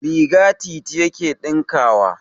Riga Liti yake ɗinkawa.